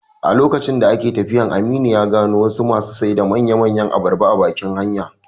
A lokacin da ake tafiyan, Aminu ya gano wasu masu sai da manya manyan abarba a bakin hanya